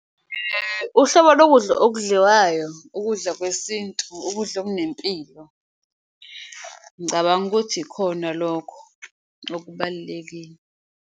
Uhlobo lokudla okudliwayo, ukudla kwesintu ukudla okunempilo. Ngicabanga ukuthi ikhona lokho okubalulekile.